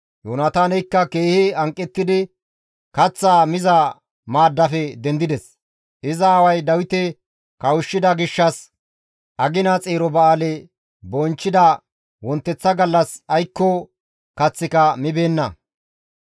Yoonataaneykka keehi hanqettidi kaththaa miza maaddaafe dendides; iza aaway Dawite kawushshida gishshas agina xeero ba7aale bonchchida wonteththa gallas aykko kaththika mibeenna.